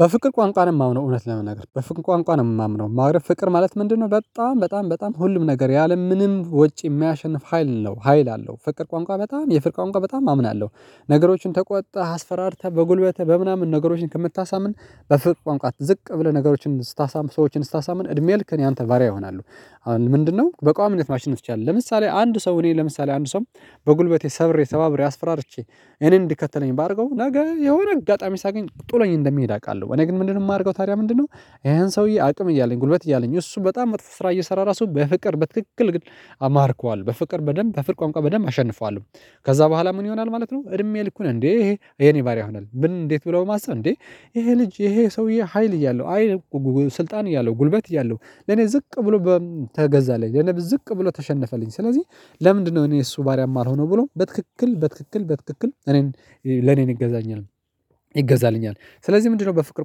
በፍቅር ቋንቋ ነው የማምነው እውነት ለመናገር በፍቅር ቋንቋ ነው የማምነው ማለት ፍቅር ማለት ምንድነው? በጣም በጣም በጣም ሁሉም ነገር ያለምንም ወጪ የማያሸንፍ ሀይል ነው ሀይል አለው ፍቅር ቋንቋ በጣም የፍቅር ቋንቋ በጣም አምናለሁ። ነገሮችን ተቆጥተህ አስፈራርተህ በጉልበትህ በምናምን ነገሮችን ከምታሳምን በፍቅር ቋንቋ ዝቅ ብለህ ነገሮችን ስታሳምን ሰዎችን ስታሳምን እድሜ ልክህን የአንተ ባርያ ይሆናሉ። አሁን ምንድነው በቋሚነት ማሽነፍ ትችላለህ? ለምሳሌ አንድ ሰው እኔ ለምሳሌ አንድ ሰው በጉልበቴ ሰብሬ ሰባብሬ አስፈራርቼ እኔን እንዲከተለኝ ባደርገው ነገ የሆነ አጋጣሚ ሲያገኝ ጥሎኝ እንደሚሄድ አውቃለሁ። እኔ ግን ምንድነው የማደርገው? ታዲያ ምንድነው? ይሄን ሰውዬ አቅም እያለኝ ጉልበት እያለኝ እሱ በጣም መጥፎ ስራ እየሰራ ራሱ በፍቅር በትክክል ግን አማርከዋለው በፍቅር በደንብ በፍቅር ቋንቋ በደንብ አሸንፈዋለሁ። ከዛ በኋላ ምን ይሆናል ማለት ነው። እድሜ ልኩን እንዴ ይሄ የኔ ባሪያ ይሆናል ምን እንዴት ብሎ በማሰብ እንዴ? ይሄ ልጅ ይሄ ሰውዬ ሀይል እያለው አይልቁ ስልጣን እያለው ጉልበት እያለው ለኔ ዝቅ ብሎ ተገዛለኝ ለኔ ዝቅ ብሎ ተሸነፈልኝ። ስለዚህ ለምንድነው እኔ የእሱ ባሪያ ማልሆነው? ብሎ በትክክል በትክክል በትክክል እኔን ለኔን ይገዛኛል። ይገዛልኛል ስለዚህ ምንድነው በፍቅር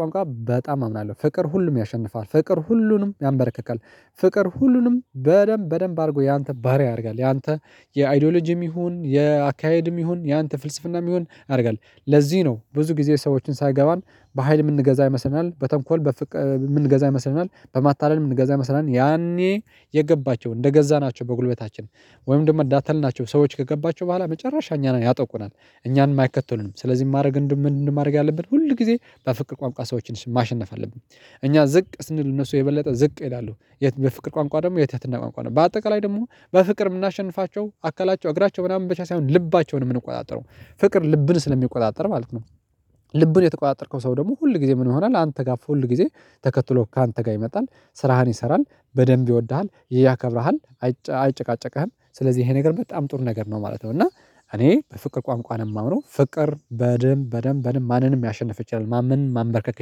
ቋንቋ በጣም አምናለሁ። ፍቅር ሁሉም ያሸንፋል ፍቅር ሁሉንም ያንበረክካል። ፍቅር ሁሉንም በደንብ በደንብ አድርጎ ያንተ ባሪያ ያደርጋል። ያንተ የአይዶሎጂም ይሁን የአካሄድም ይሁን ያንተ ፍልስፍናም ይሁን አድርጋል። ለዚህ ነው ብዙ ጊዜ ሰዎችን ሳይገባን በሃይል ምንገዛ ይመስለናል። በተንኮል ምንገዛ ይመስለናል። በማታለል ምንገዛ ይመስለናል። ያኔ የገባቸው እንደገዛናቸው በጉልበታችን ወይም ደግሞ እንዳታለልናቸው ሰዎች ከገባቸው በኋላ መጨረሻ እኛን ያጠቁናል። እኛን የማይከተሉንም ስለዚህ ማድረግ ምን ማድረግ ያለብን ሁል ጊዜ በፍቅር ቋምቋ ሰዎችን ማሸነፍ አለብን። እኛ ዝቅ ስንል እነሱ የበለጠ ዝቅ ይላሉ። የት በፍቅር ቋንቋ ደግሞ የትህትና ቋንቋ ነው። በአጠቃላይ ደግሞ በፍቅር የምናሸንፋቸው አከላቸው እግራቸው ምናምን በቻለ ሳይሆን ልባቸውን ምንቆጣጠረው ፍቅር ልብን ስለሚቆጣጠር ማለት ነው። ልብን የተቆጣጠርከው ሰው ደግሞ ሁል ጊዜ ምን ይሆናል? አንተ ጋር ፉል ጊዜ ተከትሎ ካንተ ጋር ይመጣል። ስራህን ይሰራል በደንብ ይወድሃል ያከብርሃል። አይጨቃጨቅህም ስለዚህ ይሄ ነገር በጣም ጥሩ ነገር ነው ማለት ነው። እና እኔ በፍቅር ቋንቋ ነው የማወራው ፍቅር በደንብ በደንብ በደንብ ማንንም ያሸንፍ ይችላል ማንም ማንበርከክ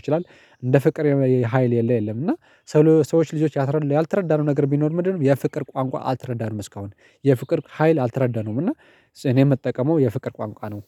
ይችላል። እንደ ፍቅር የሆነ ሀይል የለ የለም። እና ሰዎች ልጆች ያልተረዳነው ነገር ቢኖር ምንድነው? የፍቅር ቋንቋ አልተረዳንም እስካሁን። የፍቅር ሀይል አልተረዳነውም። እና እኔ የምጠቀመው የፍቅር ቋንቋ ነው።